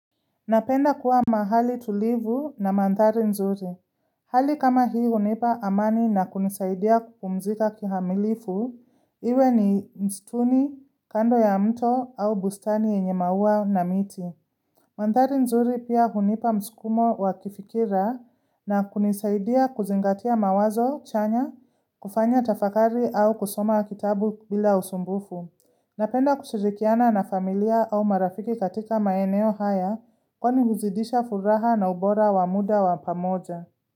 Napenda kuwa mahali tulivu na mandhari nzuri. Hali kama hii hunipa amani na kunisaidia kupumzika kikamilifu. Iwe ni mstuni, kando ya mto au bustani yenye maua na miti. Mandhari nzuri pia hunipa mskumo wa kifikira na kunisaidia kuzingatia mawazo, chanya, kufanya tafakari au kusoma kitabu bila usumbufu. Napenda kushirikiana na familia au marafiki katika maeneo haya kwani huzidisha furaha na ubora wa muda wa pamoja.